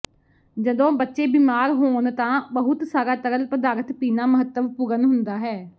ਜਦੋਂ ਬੱਚੇ ਬਿਮਾਰ ਹੋਣ ਤਾਂ ਬਹੁਤ ਸਾਰਾ ਤਰਲ ਪਦਾਰਥ ਪੀਣਾ ਮਹੱਤਵਪੂਰਣ ਹੁੰਦਾ ਹੈ